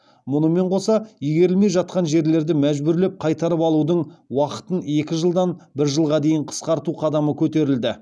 мұнымен қоса игерілмей жатқан жерлерді мәжбүрлеп қайтарып алудың уақытын екі жылдан бір жылға дейін қысқарту қадамы көтерілді